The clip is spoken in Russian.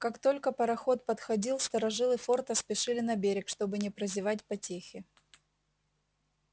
как только пароход подходил старожилы форта спешили на берег чтобы не прозевать потехи